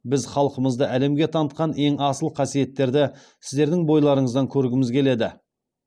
біз халқымызды әлемге танытқан ең асыл қасиеттерді сіздердің бойларыңыздан көргіміз келеді